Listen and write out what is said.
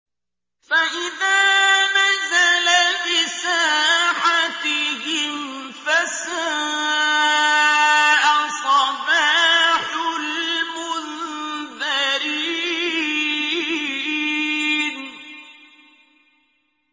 فَإِذَا نَزَلَ بِسَاحَتِهِمْ فَسَاءَ صَبَاحُ الْمُنذَرِينَ